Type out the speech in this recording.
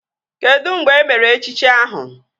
Kedụ mgbe emere echichi ahụ?